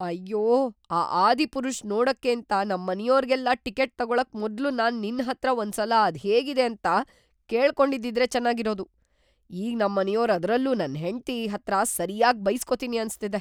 ಅಯ್ಯೋ! ‌ಆ "ಆದಿಪುರುಷ್" ನೋಡಕ್ಕೇಂತ ನಮ್ಮನೆಯೋರ್ಗೆಲ್ಲ ಟಿಕೆಟ್ ತಗೊಳಕ್‌ ಮೊದ್ಲು ನಾನ್‌ ನಿನ್ಹತ್ರ ಒಂದ್ಸಲ ಅದ್ಹೇಗಿದೆ ಅಂತ ಕೇಳ್ಕೊಂಡಿದ್ದಿದ್ರೆ ಚೆನಾಗಿರೋದು. ಈಗ್‌ ನಮ್ಮನೆಯೋರು ಅದ್ರಲ್ಲೂ ನನ್ ಹೆಂಡ್ತಿ ಹತ್ರ ಸರ್ಯಾಗ್‌ ಬೈಸ್ಕೊತೀನಿ ಅನ್ಸ್ತಿದೆ.